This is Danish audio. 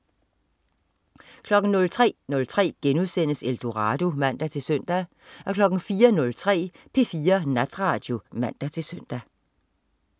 03.03 Eldorado* (man-søn) 04.03 P4 Natradio (man-søn)